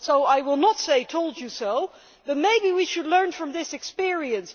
so I will not say told you so', but maybe we should learn from this experience.